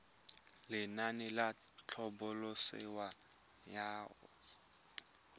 lenaane la tlhabololosewa ya hosetele